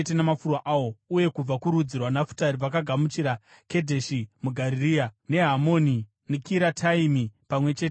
uye kubva kurudzi rwaNafutari vakagamuchira Kedheshi muGarirea, neHamoni neKiriataimi pamwe chete namafuro awo.